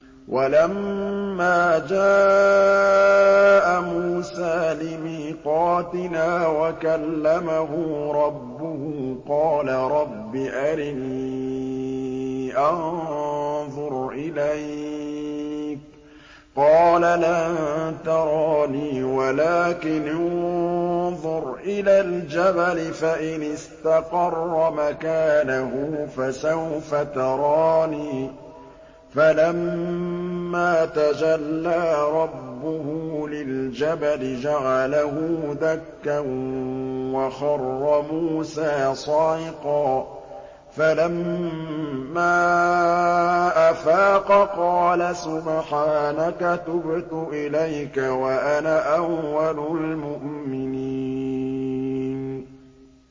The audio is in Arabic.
وَلَمَّا جَاءَ مُوسَىٰ لِمِيقَاتِنَا وَكَلَّمَهُ رَبُّهُ قَالَ رَبِّ أَرِنِي أَنظُرْ إِلَيْكَ ۚ قَالَ لَن تَرَانِي وَلَٰكِنِ انظُرْ إِلَى الْجَبَلِ فَإِنِ اسْتَقَرَّ مَكَانَهُ فَسَوْفَ تَرَانِي ۚ فَلَمَّا تَجَلَّىٰ رَبُّهُ لِلْجَبَلِ جَعَلَهُ دَكًّا وَخَرَّ مُوسَىٰ صَعِقًا ۚ فَلَمَّا أَفَاقَ قَالَ سُبْحَانَكَ تُبْتُ إِلَيْكَ وَأَنَا أَوَّلُ الْمُؤْمِنِينَ